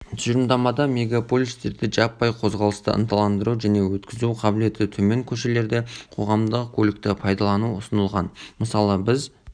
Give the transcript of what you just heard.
тұжырымдамада мегаполистерде жаппай қозғалысты ынталандыру және өткізу қабілеті төмен көшелерде қоғамдық көлікті пайдалану ұсынылған мысалы біз